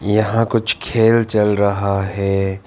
यहां कुछ खेल चल रहा है।